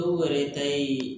Dɔw yɛrɛ ta ye